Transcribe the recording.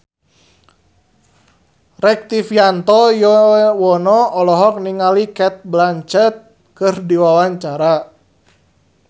Rektivianto Yoewono olohok ningali Cate Blanchett keur diwawancara